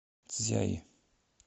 цзяи